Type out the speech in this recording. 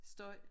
Støj